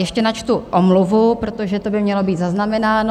Ještě načtu omluvu, protože to by mělo být zaznamenáno.